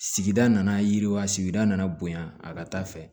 Sigida nana yiriwa sigida nana bonya a ka taa fɛ